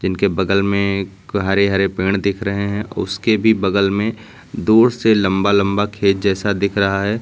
उनके बगल में एक हरे हरे पेड़ दिख रहे हैं उसके भी बगल में दूर से लंबा लंबा खेत जैसा दिख रहा है।